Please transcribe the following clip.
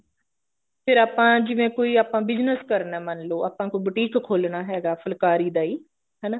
ਫੇਰ ਆਪਾਂ ਜਿਵੇਂ ਕੋਈ ਆਪਾ business ਕਰਨਾ ਮੰਨਲੋ ਆਪਣਾ ਕੋਈ boutique ਖੋਲਨਾ ਹੈਗਾ ਫੁਲਾਕਰੀ ਦਾ ਹੀ ਹਨਾ